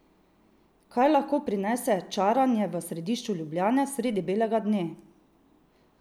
Kaj lahko prinese čaranje v središču Ljubljane sredi belega dne?